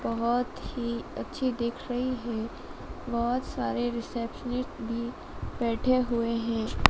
बहोत ही अच्छी दिख रही है। बहोत सारे रिसेप्शनिस्ट भी बैठे हुए हैं।